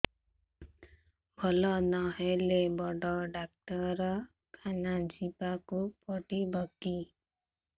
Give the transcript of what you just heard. ଭଲ ନହେଲେ ବଡ ଡାକ୍ତର ଖାନା ଯିବା କୁ ପଡିବକି